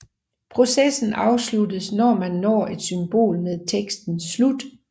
Processen afsluttes når man når et symbol med teksten Slut